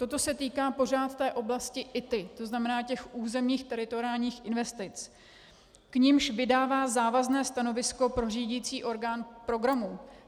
Toto se týká pořád té oblasti ITI, to znamená těch územních teritoriálních investic, k nimž vydává závazné stanovisko pro řídicí orgán programu.